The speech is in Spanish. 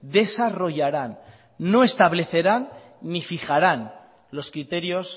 desarrollarán no establecerá ni fijarán los criterios